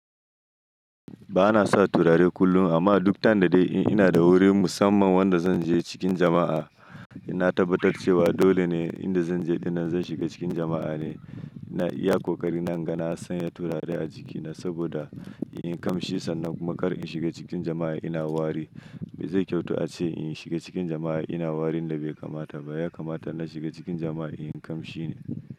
Ba na sa turare kullum amma duk time da dai in ina da wuri musamman wanda zan je cikin jama'a. Na tabbatar cewa dole ne inda zan je dinnan zan shiga cikin jama'a ne. Na iya ƙoƙari na ga na san ya turare a jikina saboda in ƙamshi sannan kuma kar in shiga cikin jama'a ina wari. Bai zai kyautu ace in shiga cikin jama'a ina warin da bai kamata ba. Ya kamata na shiga cikin jama'a in kamshi ne.